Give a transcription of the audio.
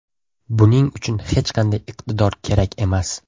Buning uchun hech qanday iqtidor kerak emas.